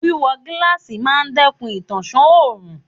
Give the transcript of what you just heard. Wíwọ gíláàsì máa dẹ́kun ìtànṣán òrùn.